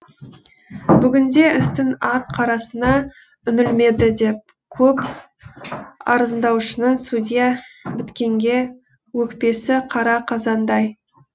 бүгінде істің ақ қарасына үңілмеді деп көп арызданушының судья біткенге өкпесі қара қазандай